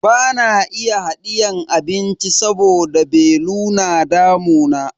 Bana iya hadiyan abinci saboda belu yana damuna.